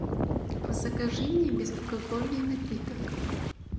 закажи мне безалкогольный напиток